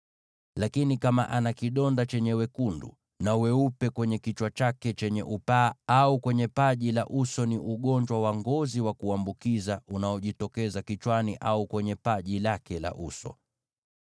Lakini kama ana kidonda chenye wekundu na weupe kwenye kichwa chake chenye upaa, au kwenye paji la uso, ni ugonjwa wa ngozi wa kuambukiza unaojitokeza kichwani au kwenye paji lake la uso.